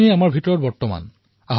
আমাৰ ভিতৰত সকলো আছে